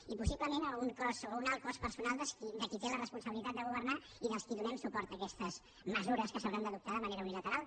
i possiblement a un alt cost personal de qui té la responsabilitat de governar i dels qui donem suport a aquestes mesures que s’hauran d’adoptar de manera unilateral